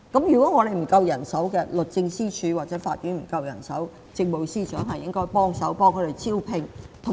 如果律政司或法庭人手不足，政務司司長應該協助招聘。